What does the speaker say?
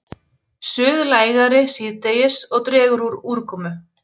Suðlægari síðdegis og dregur úr úrkomu